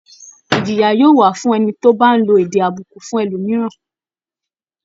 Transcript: Ìjìyà yóò wà fún ẹni tó bá ń lo èdè àbùkù fún ẹlòmìíràn